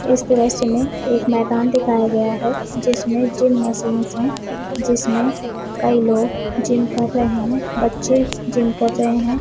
इस दृश्य में एक मैदान दिखाया है जिसमे जिम मशीन से कई लोग जिम कर रहे है बच्चे जिम कर रहे है।